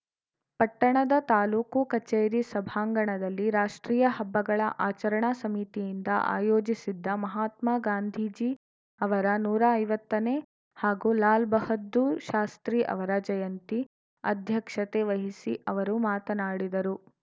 ಪಟ್ಟಣದ ತಾಲೂಕು ಕಚೇರಿ ಸಭಾಂಗಣದಲ್ಲಿ ರಾಷ್ಟ್ರೀಯ ಹಬ್ಬಗಳ ಆಚರಣಾ ಸಮಿತಿಯಿಂದ ಆಯೋಜಿಸಿದ್ದ ಮಹಾತ್ಮಾ ಗಾಂಧೀಜಿ ಅವರ ನೂರಾ ಐವತ್ತ ನೇ ಹಾಗೂ ಲಾಲ್‌ ಬಹದ್ದೂರ್‌ ಶಾಸ್ತ್ರೀ ಅವರ ಜಯಂತಿ ಅಧ್ಯಕ್ಷತೆ ವಹಿಸಿ ಅವರು ಮಾತನಾಡಿದರು